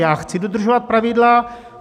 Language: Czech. Já chci dodržovat pravidla.